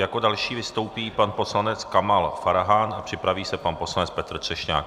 Jako další vystoupí pan poslanec Kamal Farhan a připraví se pan poslanec Petr Třešňák.